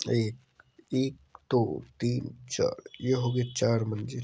ए--एकदोतीनचार ये हो गए चार मंजिल---